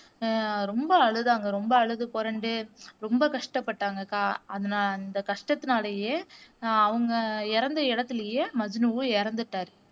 ஆஹ் ரொம்ப அழுதாங்க ரொம்ப அழுது புரண்டு ரொம்ப கஷ்டப்பட்டாங்க அந்த கஷ்டத்தினாலேயே அவங்க இறந்த இடத்திலேயே மஜ்னுவும் இறந்துட்டாரு.